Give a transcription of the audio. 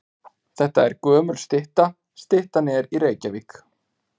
Þetta er gömul stytta. Styttan er í Reykjavík.